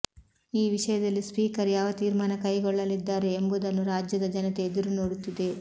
ಈ ವಿಷಯದಲ್ಲಿ ಸ್ಪೀಕರ್ ಯಾವ ತೀರ್ಮಾನ ಕೈಗೊಳ್ಳಲಿದ್ದಾರೆ ಎಂಬುದನ್ನು ರಾಜ್ಯದ ಜನತೆ ಎದುರು ನೋಡುತ್ತಿದೆ